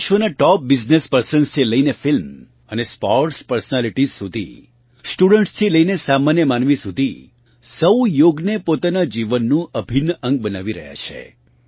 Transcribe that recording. વિશ્વનાં top business પર્સન્સથી લઇને film અને સ્પોર્ટ્સ પર્સનાલિટીઝ સુધી સ્ટુડન્ટ્સથી લઇને સામાન્ય માનવી સુધી સહુ યોગને પોતાનાં જીવનનું અભિન્ન અંગ બનાવી રહ્યાં છે